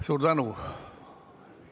Suur tänu!